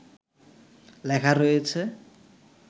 লেখা রয়েছে